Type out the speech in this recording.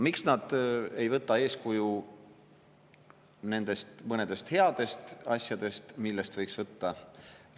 Miks nad ei võta eeskuju nendest mõnedest headest asjadest, millest võiks võtta?